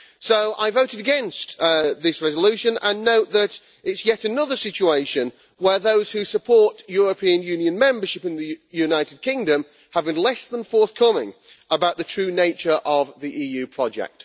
I therefore voted against this resolution, and I note that it is yet another situation where those who support European Union membership in the United Kingdom have been less than forthcoming about the true nature of the EU project.